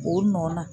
O nɔ na